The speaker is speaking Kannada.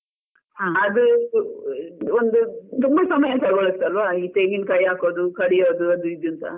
ಒಂದು ತುಂಬ ಸಮಯ ತೊಗೊಳುತಲ್ವಾ ಈ ತೆಂಗಿನಕಾಯಿ ಹಾಕೋದು, ಕಡಿಯೋದು ಅದು ಇದು ಅಂತ.